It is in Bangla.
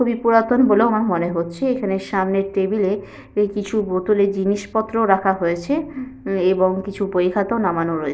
খুবই পুরাতন বলেও আমার মনে হচ্ছে এখানে সামনে টেবিল -এ কিছু বোতলে জিনিসপত্র রাখা হয়েছে উম এবং কিছু বই খাতা নামানো রয়ে--